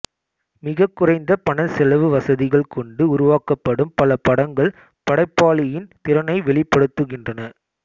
மிகக் குறைந்த பணச்செலவுவசதிகள் கொண்டு உருவாக்கப்படும் பல படங்கள் படைப்பாளியின் திறனை வெளிப்படுத்துகின்றன